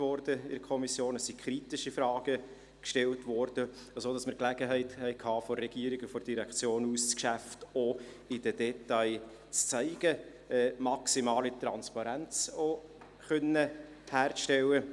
Seitens der Kommission wurde gründlich gearbeitet, und es wurden kritische Fragen gestellt, sodass wir seitens der Regierung und der Direktion die Gelegenheit hatten, das Geschäft auch in seinen Details aufzuzeigen und maximale Transparenz herzustellen.